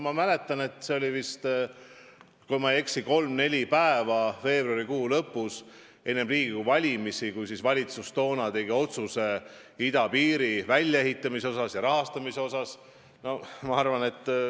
Ma mäletan, et see oli, kui ma ei eksi, kolm-neli päeva veebruarikuu lõpus enne Riigikogu valimisi, kui valitsus tegi otsuse idapiiri väljaehitamise ja rahastamise kohta.